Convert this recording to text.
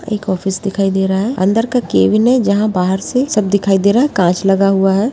एक ऑफिस दिखाई दे रहा है अंदर का केबिन है जहां बाहर से सब दिखाई दे रहा काँच लगा हुआ है।